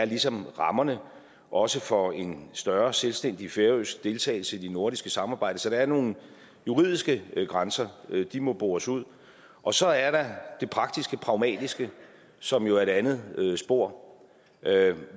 ligesom er rammerne også for en større selvstændig færøsk deltagelse i det nordiske samarbejde så der er nogle juridiske grænser og de må bores ud og så er der det praktiske pragmatiske som jo er det andet spor